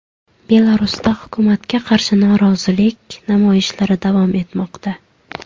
Belarusda hukumatga qarshi norozilik namoyishlari davom etmoqda.